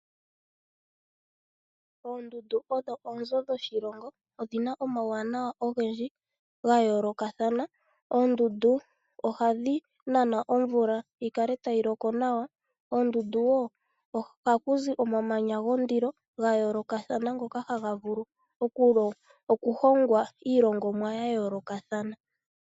Oondundu odho onzo dhoshilongo, odhina omawuwanawa ogendji ngayolokathana. Oondundu ohadhi nana omvula yikale ayi loko nawa. Oondundu oha kuzi omamanya gondilo gayolokatha gokahaga vulu okuhogwa iihogomwa yayolokathana.